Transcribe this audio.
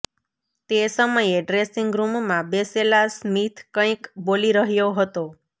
તે સમયે ડ્રેસિંગ રૂમમાં બેસેલા સ્મિથ કંઈક બોલી રહ્યો હતો